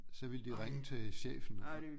Så ville de ringe til chefen